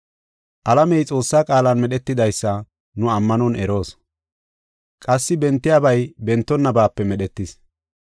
Alamey Xoossaa qaalan medhetidaysa nu ammanon eroos. Qassi bentiyabay bentonnabape medhetis.